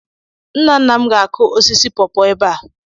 Nna nna m ga-akụ osisi paw-paw ebe a.